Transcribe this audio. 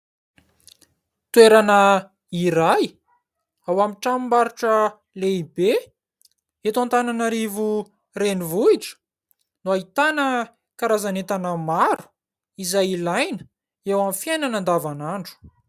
Toerana iray, ao amin'ny tranombarotra lehibe, eto Antananarivo renivohitra no ahitana karazan'entana maro, izay ilaina eo amin'ny fiainana andavanandro.